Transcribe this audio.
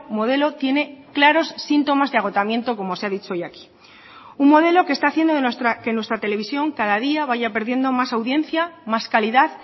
modelo tiene claros síntomas de agotamiento como se ha dicho hoy aquí un modelo que está haciendo que nuestra televisión cada día vaya perdiendo más audiencia más calidad